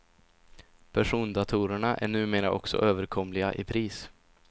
Persondatorerna är numera också överkomliga i pris.